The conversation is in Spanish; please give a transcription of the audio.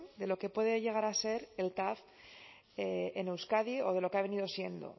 de lo que puede llegar a ser el tav en euskadi o de lo que ha venido siendo